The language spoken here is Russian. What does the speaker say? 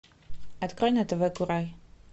открой на тв курай